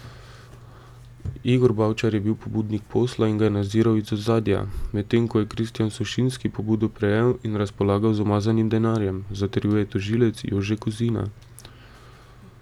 Igor Bavčar je bil pobudnik posla in ga je nadziral iz ozadja, medtem ko je Kristjan Sušinski pobudo prejel in razpolagal z umazanim denarjem, zatrjuje tožilec Jože Kozina.